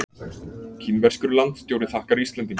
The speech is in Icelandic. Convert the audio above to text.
Kínverskur landstjóri þakkar Íslendingum